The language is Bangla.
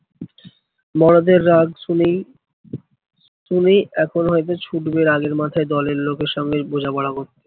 মরদের রাগ শুনেই, শুনেই এখন হয়তো ছুটবে রাগের মাথায় দলের লোকের সঙ্গে বোঝাপড়া করতে।